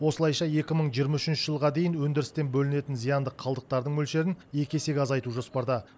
осылайша екі мың жиырма үшінші жылға дейін өндірістен бөлінетін зиянды қалдықтардың мөлшерін екі есеге азайту жоспарда